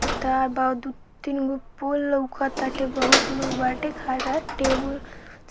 फिर तार बा दू-तीन गो पोल लौके ताटे बहुत लोग बाटे खड़ा टेबुल